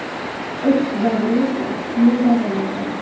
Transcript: O‘tish davri esa ikki yil davom etadi.